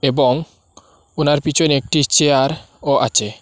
এবং ওনার পেছনে একটি চেয়ারও আছে।